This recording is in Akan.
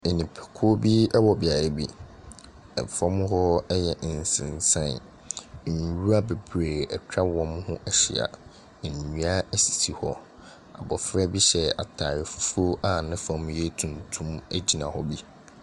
Nnipakuo bi ɛwɔ beaeɛ bi. Ɛfɔm hɔ ɛyɛ nsensan. Nnwura bebree atwa wɔmo ho ahyia. Nnua esisi hɔ, abɔfra bi hyɛ ataare fufuo a nefɔm ɛyɛ tuntum egyina hɔ bi.